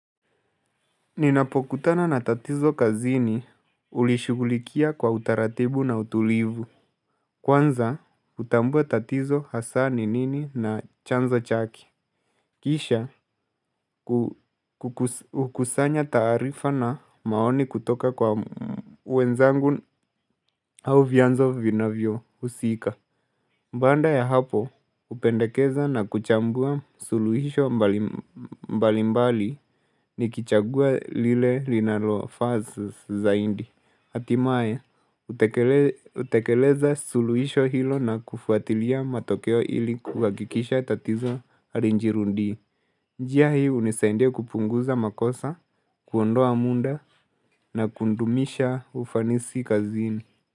Ninapokutana na tatizo kazini hulishugulikia kwa utaratibu na utulivu. Kwanza, utambue tatizo hasa ni nini na chanzo chake Kisha, hukusanya taarifa na maoni kutoka kwa wenzangu au vianzo vina vyo husika. Baada ya hapo, upendekeza na kuchambua suluhisho mbalimbali ni kichagua lile linaloa faa zaidi hatimae, hutekeleza suluhisho hilo na kufuatilia matokeo ili kuhakikisha tatizo halijirudii njia hii unisaidia kupunguza makosa, kuondoa muda na kudumisha ufanisi kazini.